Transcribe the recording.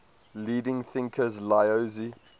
leading thinkers laozi